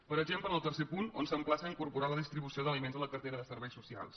per exemple en el tercer punt on s’emplaça a incorporar la distribució d’aliments a la cartera de serveis socials